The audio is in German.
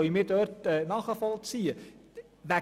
Bezüglich der